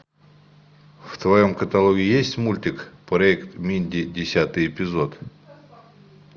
в твоем каталоге есть мультик проект минди десятый эпизод